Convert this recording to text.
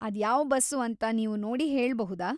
ಅದ್ಯಾವ್ bus ಅಂತ ನೀವು ನೋಡಿ ಹೇಳ್ಬಹುದಾ?